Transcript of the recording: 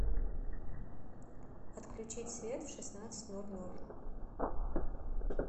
отключить свет в шестнадцать ноль ноль